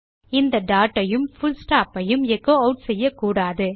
இந்த டாட் ஐயும் full stop ஐயும் எச்சோ ஆட் செய்யக்கூடாது